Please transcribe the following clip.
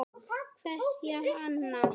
Kveðja, Anna.